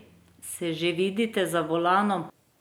Se že vidite za volanom?